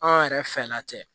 An yɛrɛ fɛla tɛ